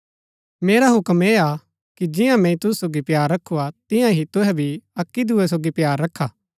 मेरा हूक्म ऐह हा कि जियां मैंई तुसु सोगी प्‍यार रखू हा तियां ही तुहै भी अक्की दूये सोगी प्‍यार रखा